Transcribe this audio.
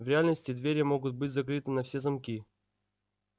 в реальности двери могут быть закрыты на все замки